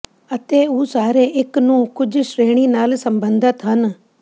ਅਤੇ ਉਹ ਸਾਰੇ ਇੱਕ ਨੂੰ ਕੁਝ ਸ਼੍ਰੇਣੀ ਨਾਲ ਸਬੰਧਤ ਹਨ